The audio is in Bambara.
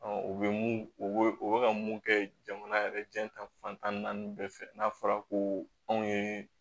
u bɛ mun o bɛ ka mun kɛ jamana yɛrɛ diɲɛ tan fantan ni naani bɛɛ fɛ n'a fɔra ko anw ye